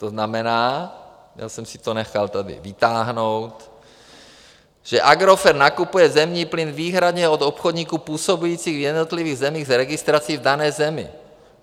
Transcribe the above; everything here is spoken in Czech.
To znamená, já jsem si to nechal tady vytáhnout, že Agrofert nakupuje zemní plyn výhradně od obchodníků působících v jednotlivých zemích s registrací v dané zemi.